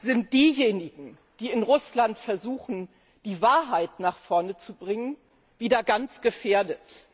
sind diejenigen, die in Russland versuchen, die Wahrheit nach vorne zu bringen, wieder stark gefährdet.